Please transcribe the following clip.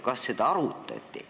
Kas seda arutati?